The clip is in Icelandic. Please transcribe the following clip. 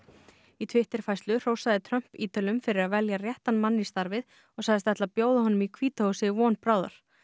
í Twitter færslu hrósaði Trump Ítölum fyrir að velja réttan mann í starfið og sagðist ætla að bjóða honum í hvíta húsið von bráðar